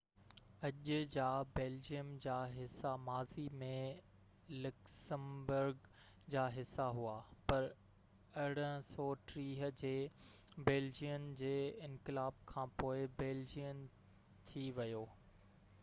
اڄ جا بيلجيم جا حصا ماضي ۾ لڪسمبرگ جا حصا هئا پر 1830 جي بيلجين جي انقلاب کانپوءِ بيلجين ٿي ويو